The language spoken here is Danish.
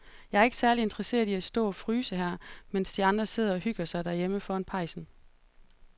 Jeg er ikke særlig interesseret i at stå og fryse her, mens de andre sidder og hygger sig derhjemme foran pejsen.